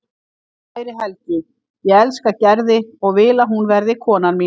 Kæri Helgi, ég elska Gerði og vil að hún verði konan mín.